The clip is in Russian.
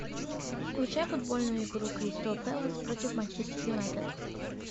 включай футбольную игру кристал пэлас против манчестер юнайтед